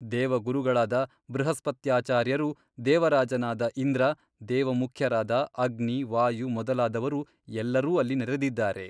ದೇವಗುರುಗಳಾದ ಬೃಹಸ್ಪತ್ಯಾಚಾರ್ಯರು ದೇವರಾಜನಾದ ಇಂದ್ರ ದೇವಮುಖ್ಯರಾದ ಅಗ್ನಿ ವಾಯು ಮೊದಲಾದವರು ಎಲ್ಲರೂ ಅಲ್ಲಿ ನೆರೆದಿದ್ದಾರೆ.